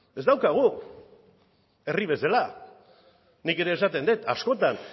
ez daukagu herri bezala nik ere esaten dut askotan